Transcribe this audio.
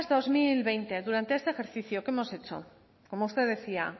dos mil veinte durante este ejercicio que hemos hecho como usted decía